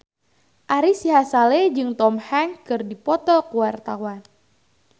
Ari Sihasale jeung Tom Hanks keur dipoto ku wartawan